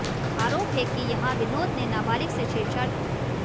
आरोप है कि यहां विनोद ने नाबालिग से छेड़छाड़ की